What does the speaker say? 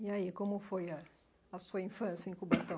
E aí, como foi a a sua infância em Cubatão?